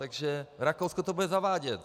Takže Rakousko to bude zavádět.